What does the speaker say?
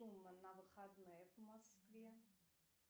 на выходные в москве